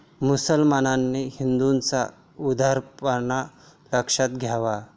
मुसलमानांनी हिंदूंचा उदारपणा लक्षात घ्यावा.